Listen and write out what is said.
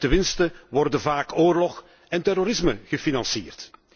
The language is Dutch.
En met de winsten worden vaak oorlog en terrorisme gefinancierd.